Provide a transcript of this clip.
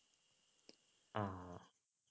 ആഹ്